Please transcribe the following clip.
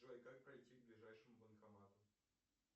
джой как пройти к ближайшему банкомату